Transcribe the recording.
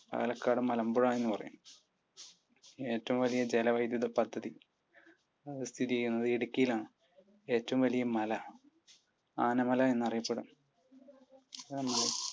പാലക്കാട് മലമ്പുഴ എന്ന് പറയും. ഏറ്റവും വലിയ ജല വൈദ്യുദി പദ്ധതി സ്ഥിതി ചെയ്യുന്നത് ഇടുക്കിയിൽ ആണ്. ഏറ്റവും വലിയ മല? ആനമല എന്നറിയപ്പെടുന്നു.